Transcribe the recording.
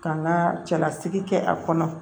Ka n ka cɛlasigi kɛ a kɔnɔ